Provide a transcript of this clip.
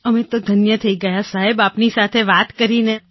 અમે ધન્ય થઈ ગયાં સાહેબ આપની સાથે વાત કરીને